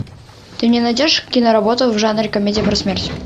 ты мне найдешь киноработу в жанре комедия про смерть